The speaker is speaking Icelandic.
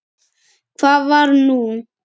Hvað var nú?